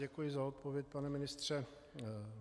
Děkuji za odpověď, pane ministře.